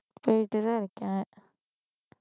போயிட்டுதான் இருக்கேன்